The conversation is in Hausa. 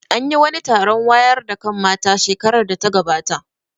An yi wani taron wayar da kan mata shekarar da ta gabata